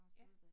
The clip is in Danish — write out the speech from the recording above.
Ja